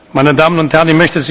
Meine Damen und Herren!